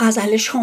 عشق